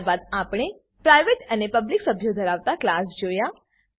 ત્યારબાદ આપણે પ્રાઈવેટ અને પબ્લિક સભ્યો ધરાવતા ક્લાસ જોયા